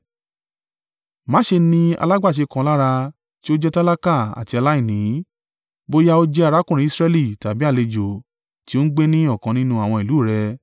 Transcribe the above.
Má ṣe ni alágbàṣe kan lára tí ó jẹ́ tálákà àti aláìní, bóyá ó jẹ́ arákùnrin Israẹli tàbí àlejò tí ó ń gbé ní ọ̀kan nínú àwọn ìlú rẹ.